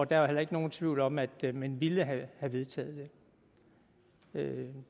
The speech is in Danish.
der er heller ikke nogen tvivl om at man ville have vedtaget det